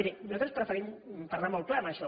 miri nosaltres preferim parlar molt clar en això